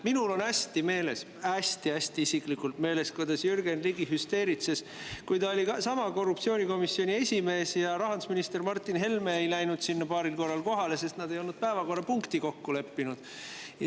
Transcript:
Minul on hästi meeles, hästi-hästi isiklikult meeles, kuidas Jürgen Ligi hüsteeritses, kui ta oli sama korruptsioonikomisjoni esimees ja rahandusminister Martin Helme ei läinud sinna paaril korral kohale, sest nad ei olnud päevakorrapunkti kokku leppinud.